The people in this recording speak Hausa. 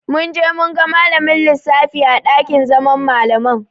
Mun je mun ga malamin lissafin a ɗakin zaman Malaman.